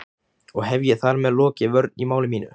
Og hef ég þar með lokið vörn í máli mínu.